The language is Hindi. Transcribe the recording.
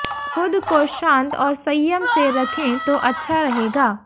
खुद को शांत और संयम से रखें तो अच्छा रहेगा